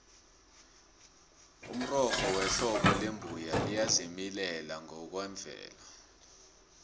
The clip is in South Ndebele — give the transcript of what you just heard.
umrorho wehlobo lembuya liyazimilela ngokwemvelo